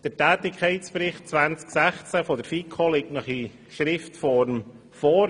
Der Tätigkeitsbericht 2016 der FiKo liegt Ihnen schriftlich vor.